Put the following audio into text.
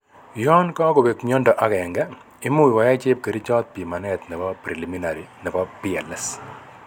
Yan kakobek myondo agenge, imuch koyai chepkerichot pimanet nebo preliminary nebo PLS